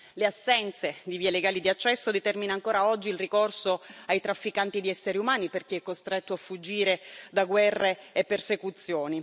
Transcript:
L'assenza di vie legali di accesso determina ancora oggi il ricorso ai trafficanti di esseri umani per chi è costretto a fuggire da guerre e persecuzioni.